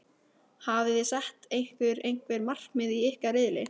Hafiði sett ykkur einhver markmið í ykkar riðli?